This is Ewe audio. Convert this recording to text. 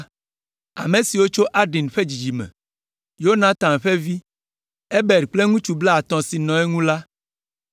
Ame siwo tso Adin ƒe dzidzime me: Yonatan ƒe vi, Ebed kple ŋutsu blaatɔ̃ siwo nɔ eŋu la;